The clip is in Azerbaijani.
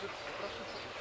Yaxşı, yox, Suşuluqdur.